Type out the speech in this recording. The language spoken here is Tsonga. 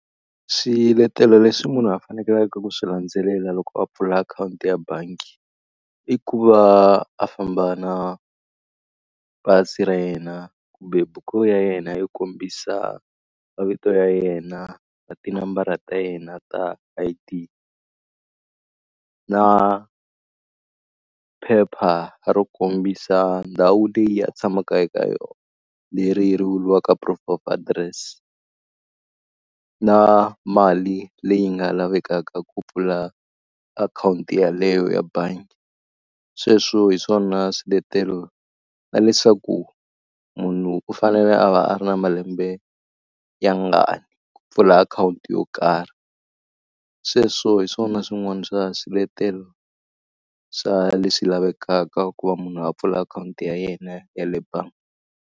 Swiletelo leswi munhu a fanekeleke ku swi landzelela loko a pfula akhawunti ya bangi i ku va a famba na pasi ra yena kumbe buku ya yena yo kombisa mavito ya yena na tinambara ta yena ta I_D. Na phepha ro kombisa ndhawu leyi a tshamaka eka yona, leri ri vuriwaka proof of address. Na mali leyi nga lavekaka ku pfula akhawunti yeleyo ya bangi. Sweswo hi swona swiletelo na leswaku munhu u fanele a va a ri na malembe ya ngani ku pfula akhawunti yo karhi. Sweswo hi swona swin'wana swa swiletelo swa leswi lavekaka ku va munhu a pfula akhawunti ya yena ya le bangi.